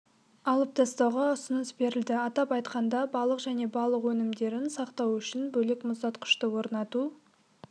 алып тастауға ұсыныс берілді атап айтқанда балық және балық өнімдерін сақтау үшін бөлек мұздатқышты орнату